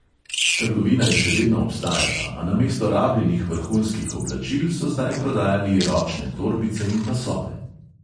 Trgovina je še vedno obstajala, a namesto rabljenih vrhunskih oblačil so zdaj prodajali ročne torbice in pasove.